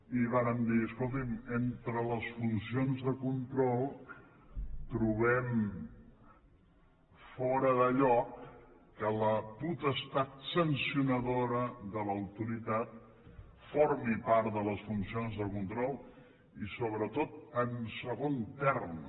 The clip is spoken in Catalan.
i vàrem dir escolti’m entre les funcions de control trobem fora de lloc que la potestat sancionadora de l’autoritat formi part de les funcions de control i sobretot en segon terme